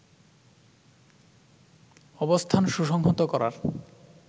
অবস্থান সুসংহত করার